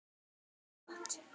Allt gott.